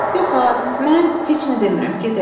Yox ha, mən heç nə demirəm, gedək.